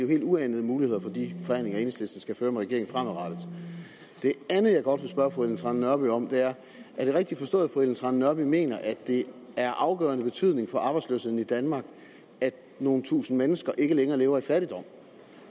helt uanede muligheder for de forhandlinger enhedslisten skal føre med regeringen fremadrettet det andet jeg godt vil spørge fru ellen trane nørby om er er det rigtigt forstået at fru ellen trane nørby mener at det er af afgørende betydning for arbejdsløsheden i danmark at nogle tusinde mennesker ikke længere lever i fattigdom